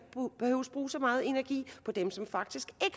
bruge så meget energi på dem som faktisk